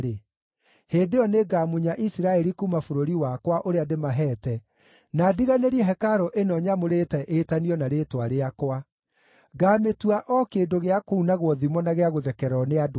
hĩndĩ ĩyo nĩngamunya Isiraeli kuuma bũrũri wakwa, ũrĩa ndĩmaheete, na ndiganĩrie hekarũ ĩno nyamũrĩte ĩtanio na Rĩĩtwa rĩakwa. Ngaamĩtua o kĩndũ gĩa kuunagwo thimo na gĩa gũthekererwo nĩ andũ othe.